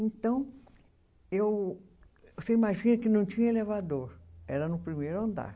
Então, eu você imagina que não tinha elevador, era no primeiro andar.